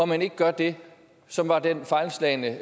man ikke gør det som var den fejlslagne